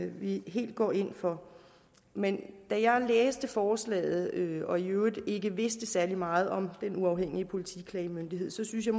vi helt går ind for men da jeg læste forslaget og i øvrigt ikke vidste særlig meget om den uafhængige politiklagemyndighed syntes jeg